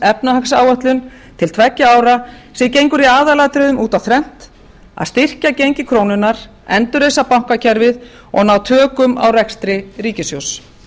efnahagsáætlun til tveggja ára sem gengur í aðalatriðum út á þrennt að styrkja gengi krónunnar endurreisa bankakerfið og ná tökum á rekstri ríkissjóðs